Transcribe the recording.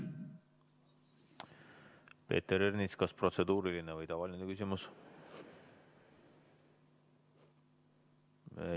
Peeter Ernits, kas protseduuriline või tavaline küsimus?